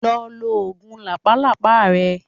Lọ lo oògùn làpálàpá rẹ.